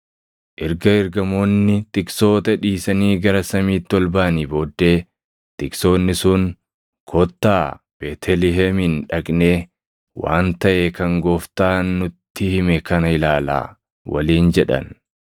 Erga Ergamoonni tiksoota dhiisanii gara samiitti ol baʼanii booddee tiksoonni sun, “Kottaa Beetlihemin dhaqnee waan taʼe kan Gooftaan nutti hime kana ilaalaa” waliin jedhan.